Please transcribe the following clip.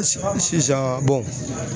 Si sisan